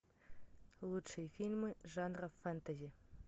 лучшие фильмы жанра фэнтези